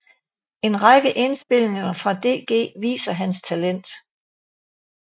En række indspilninger fra DG viser hans talent